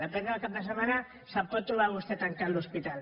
depèn del cap de setmana se’l pot trobar vostè tancat l’hospital